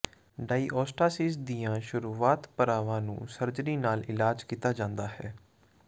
diastasis ਦੀਆਂ ਸ਼ੁਰੂਆਤ ਪੜਾਵਾਂ ਨੂੰ ਸਰਜਰੀ ਨਾਲ ਇਲਾਜ ਕੀਤਾ ਜਾਂਦਾ ਹੈ